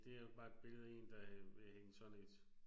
Det er jo bare et billede der er ved at hænge sådan et